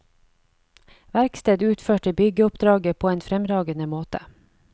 Verksted utførte byggeoppdraget på en fremragende måte.